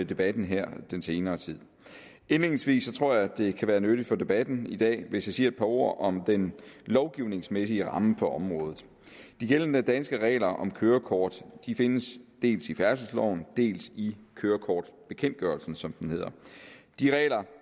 debatten her i den senere tid indledningsvis tror jeg det kan være nyttigt for debatten i dag hvis jeg siger et par ord om den lovgivningsmæssige ramme på området de gældende danske regler om kørekort findes dels i færdselsloven dels i kørekortbekendtgørelsen som det hedder de regler